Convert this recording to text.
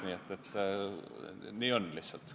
Indrek Saar, palun!